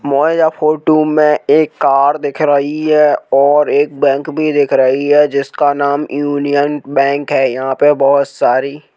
मौझे photo में एक car दिख रही है और एक बैंक भी देख रही है जिसका नाम यूनियन बैंक है। यहां पे बहोत सारी--